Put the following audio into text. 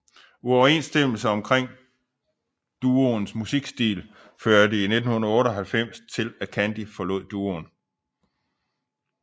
Uoverensstemmelser omkring duoens musikstil førte i 1998 til at Candy forlod duoen